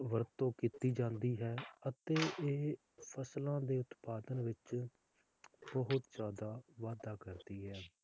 ਵਰਤੋਂ ਕੀਤੀ ਜਾਂਦੀ ਹੈ ਅਤੇ ਇਹ ਫਸਲਾਂ ਦੇ ਉਤਪਾਦਨ ਵਿਚ ਬਹੁਤ ਜ਼ਯਾਦਾ ਵਾਧਾ ਕਰਦੀ ਹੈ